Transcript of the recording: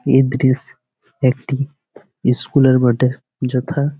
এই দৃশ একটি ইস্কুল -এর বটে যথা--